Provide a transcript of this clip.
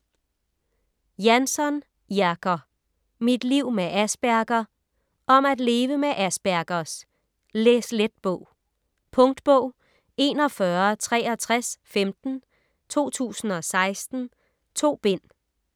Jansson, Jerker: Mit liv med Asperger Om at leve med Aspergers - læslet bog. Punktbog 416315 2016. 2 bind.